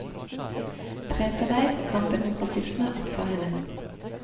Fredsarbeid og kampen mot rasisme opptar henne.